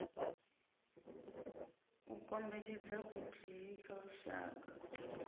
u kombetshedza vhuthihi kha lushaka